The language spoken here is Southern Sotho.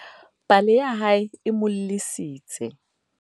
pale ya hae e mo llisitse